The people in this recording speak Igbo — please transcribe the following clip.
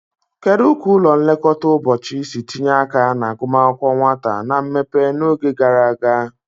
Kedu ka ụlọ nlekọta ụbọchị si tinye aka na agụmakwụkwọ nwata na mmepe n'oge gara aga?